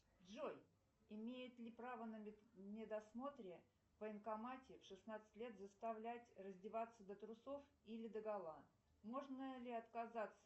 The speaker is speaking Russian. джой имеет ли право на медосмотре в военкомате в шестнадцать лет заставлять раздеваться до трусов или до гола можно ли отказаться